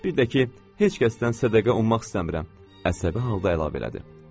Bir də ki, heç kəsdən sədəqə ummaq istəmirəm, əsəbi halda əlavə elədi.